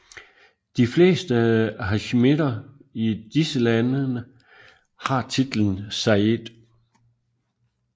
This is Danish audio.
De fleste hasjimitter i disse landene har titlen sayyid